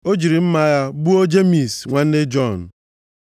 O jiri mma agha gbuo Jemis nwanne Jọn.